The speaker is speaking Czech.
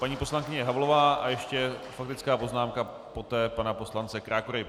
Paní poslankyně Havlová a ještě faktická poznámka poté pana poslance Krákory.